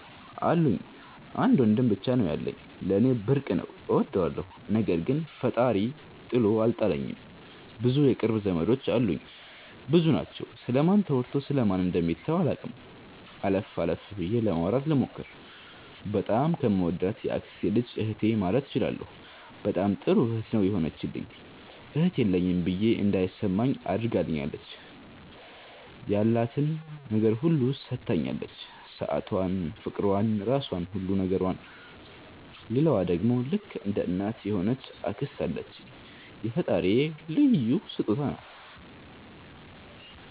አሉኝ። አንድ ወንድም ብቻ ነው ያለኝ። ለኔ ብርቅ ነው እወደዋለሁ። ነገር ግን ፈጣሪ ጥሎ አልጣለኝም ብዙ የቅርብ ዘመዶች አሉኝ። ብዙ ናቸው ስለ ማን ተወርቶ ስለ ማን ደሚተው አላቅም። አለፍ አለፍ ብዬ ለማውራት ልሞክር። በጣም ከምወዳት የአክስቴ ልጅ እህቴ ማለት እችላለሁ በጣም ጥሩ እህት ነው የሆነችልኝ እህት የለኝም ብዬ እንዳይማኝ አድርጋኛለች። ያላትን ነገር ሁሉ ሠታኛለች ሠአቷን ፍቅሯን ራሧን ሁሉ ነገሯን። ሌላዋ ደሞ ልክ እንደ እናት የሆነች አክስት አለችኝ የፈጣሪ ልዩ ሥጦታዬ ናት።